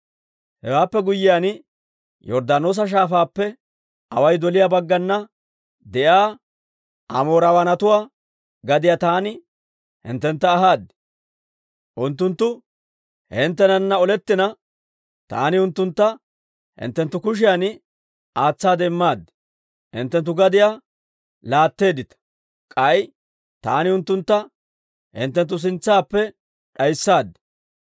« ‹Hewaappe guyyiyaan Yorddaanoosa Shaafaappe away doliyaa baggana de'iyaa Amoorawaanatuwaa gadiyaa taani hinttentta ahaad. Unttunttu hinttenana olettina, taani unttuntta hinttenttu kushiyan aatsaade immaad; hinttenttu gadiyaa laatteeddita. K'ay taani unttuntta hinttenttu sintsaappe d'ayssaad.